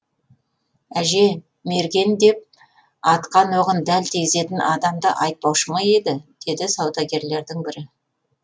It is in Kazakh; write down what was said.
әже мерген деп атқан оғын дәл тигізетін адамды айтпаушы ма еді деді саудагерлердің бірі